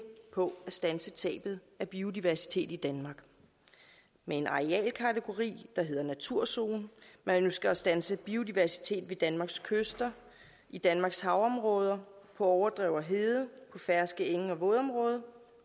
på at standse tabet af biodiversitet i danmark med en arealkategori der hedder naturzone man ønsker at standse biodiversitet ved danmarks kyster i danmarks havområder på overdrev og hede på ferske enge og vådområder